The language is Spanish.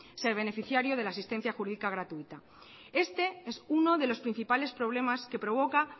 ser beneficiario de la asistencia jurídica gratuita este es uno de los principales problemas que provoca